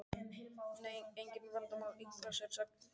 Nei, engin vandamál Eitthvað sérstakt málefni?